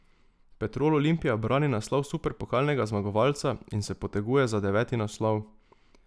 Petrol Olimpija brani naslov superpokalnega zmagovalca in se poteguje za deveti naslov.